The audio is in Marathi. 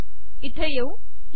इथे येऊ